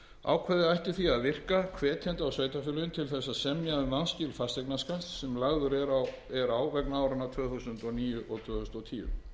ákvæðið ætti því að virka hvetjandi á sveitarfélögin til að semja um vanskil fasteignaskatts sem lagður er á vegna áranna tvö þúsund og níu og tvö þúsund og tíu